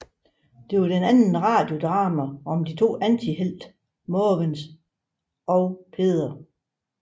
Det er det andet radiodrama om de to antihelte Måvens og Peder